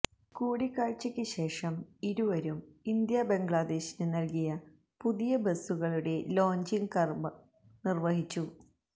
കൂടിക്കാഴ്ചക്ക് ശേഷം ഇരുവരും ഇന്ത്യ ബംഗ്ലാദേശിന് നല്കിയ പുതിയ ബസുകളുടെ ലോഞ്ചിംഗ് കര്മം നിര്വഹിച്ചു